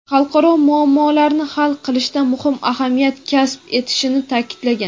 xalqaro muammolarni hal qilishda muhim ahamiyat kasb etishini ta’kidlagan.